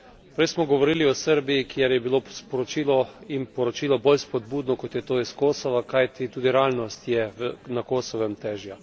Prej smo govorili o Srbiji, kjer je bilo sporočilo in poročilo bolj spodbudno, kot je to iz Kosova, kajti tudi realnost je na Kosovem težja.